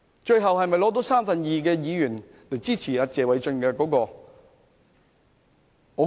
最後能否取得三分之二議員支持謝偉俊議員的議案呢？